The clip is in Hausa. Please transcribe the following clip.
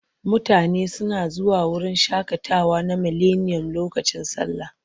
Mutane suna zuwa wurin shaƙatawa na Mileniyom lokacin sallah.